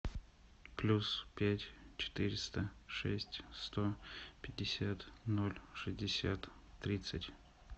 плюс пять четыреста шесть сто пятьдесят ноль шестьдесят тридцать